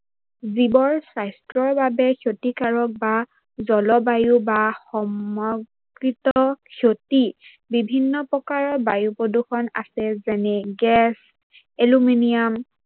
জীৱৰ সাস্থ্যৰ বাবে ক্ষতিকাৰক বা জলবায়ু বা ক্ষতি বিভিন্ন প্ৰকাৰৰ বায়ু প্ৰদূৰ্ষন আছে যেনে গেছ, এলোমিনিয়াম,